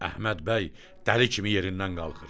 Əhməd bəy dəli kimi yerindən qalxır.